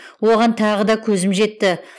оған тағы да көзім жетті